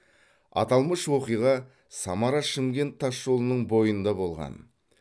аталмыш оқиға самара шымкент тасжолының бойында болған